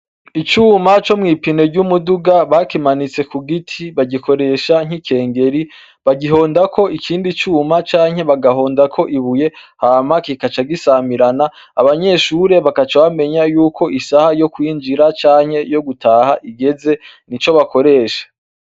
Icuma co mw'ipine ry'umuduga bakimanitse kugiti bagikoresha nk'ikigeri bagihondako ikindi cuma canke bagahondako ibuye hama kigaca gisamirana, abanyeshure bagaca bamenya yuko isaha yo kwijira canke yogutaha igeze nico bakoresha.